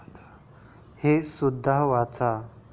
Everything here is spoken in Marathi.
हे सुद्धा वाचा